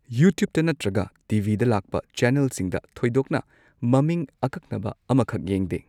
ꯌꯨꯇ꯭ꯌꯨꯕꯇ ꯅꯠꯇ꯭ꯔꯒ ꯇꯤ ꯚꯤꯗ ꯂꯥꯛꯄ ꯆꯦꯅꯦꯜꯁꯤꯡꯗ ꯊꯣꯏꯗꯣꯛꯅ ꯃꯃꯤꯡ ꯑꯀꯛꯅꯕ ꯑꯃꯈꯛ ꯌꯦꯡꯗꯦ꯫